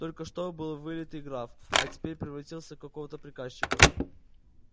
только что был вылитый граф а теперь превратился в какого-то приказчика